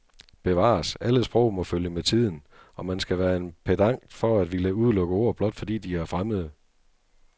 Bevares, alle sprog må følge med tiden, og man skal være en pedant for at ville udelukke ord, blot fordi de er fremmede.